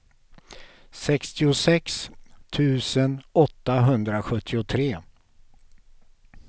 sextiosex tusen åttahundrasjuttiotre